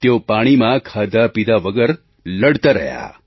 તેઓ પાણીમાં ખાધાપીધા વગર લડતા રહ્યા